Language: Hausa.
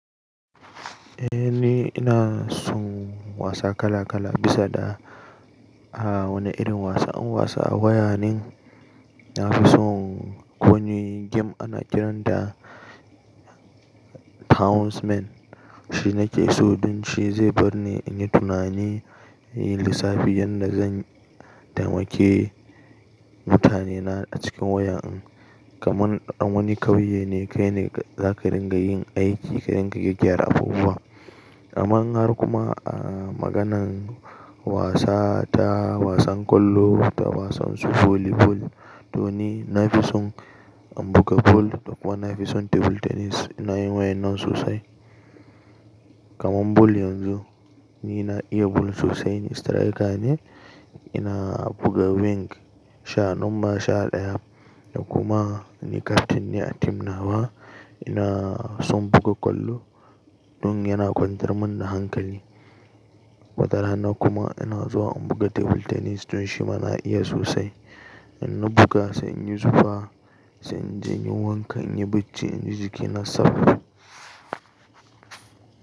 Eh ni ina son wasa kala kala bisa da a wane irin wasan. Wasan waya nin nafi son ƙo wani game ana kiran ta Townsmen. Shi nake so don shi zai bar ni in yi tunani, in yi lissafi yanda zan taimake mutane na a cikin waya din. Kaman a wani ƙauye ne kai ne za ka ringa yin aiki ka ringa gyara abubuwa. Ka manhar kuma a maganan wasa, ta wasan ƙwallo, ta wasan su volibol. To ni nafi son in buga bol da kuma nafi son table tennis. Ina yin wayan nan sosai. Kaman bol yanzu ni na iya bol sosai, ni striker ne, ina buga wing sha numba sha ɗaya da kuma ni captain ne a tim na ba. Ina son buga ƙwallo don yana kwantar min da hankali. Watarana kuma ina zuwa in buga table tennis don shi ma na iya sosai. In na buga sai in yi zufa, sai in je in yi wanka, in yi bacci, in ji jiki na safe.